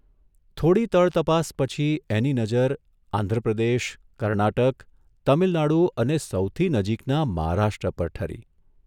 થોડી તળતપાસ પછી એની નજર આંધ્રપ્રદેશ, કર્ણાટક, તમીલનાડુ અને સૌથી નજીકના મહારાષ્ટ્ર પર ઠરી.